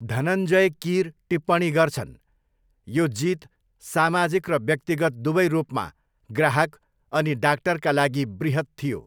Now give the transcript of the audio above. धनञ्जय कीर टिप्पणी गर्छन्, 'यो जीत सामाजिक र व्यक्तिगत दुवै रूपमा ग्राहक अनि डाक्टरका लागि बृहत थियो।'